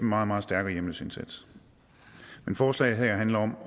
meget meget stærkere hjemløseindsats men forslaget her handler om